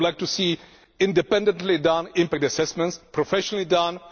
I would like to see independently carried out impact assessments, professionally done.